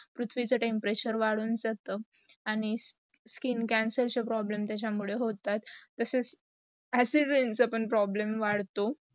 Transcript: पुर्थ्वीचा temperature वडून जात. आणी skin cancer problem त्याचा मुडे होतात. तच acid rain चा पण problem वाढतो